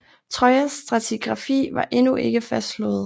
Trojas stratigrafi var endnu ikke fastslået